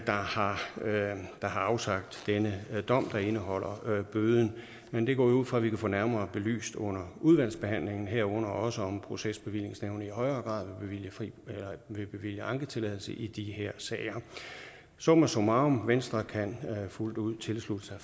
har afsagt denne dom der indeholder bøden men det går jeg ud fra at vi kan få nærmere belyst under udvalgsbehandlingen herunder også om procesbevillingsnævnet i højere grad vil bevilge anketilladelse i de her sager summa summarum venstre kan fuldt ud tilslutte sig